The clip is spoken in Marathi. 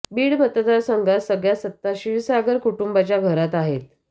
बीड मतदार संघात सगळ्या सत्ता क्षीरसागर कुटुंबाच्या घरात आहेत